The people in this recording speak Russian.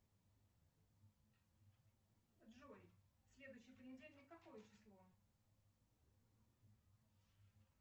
джой следующий понедельник какое число